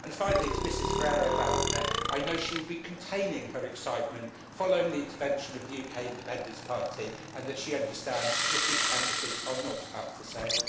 Finally, to Mrs Ferrero Waldner, I know she will be containing her excitement following the intervention of the UK Independence Party and she understands that British Embassies are not up for sale.